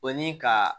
O ni ka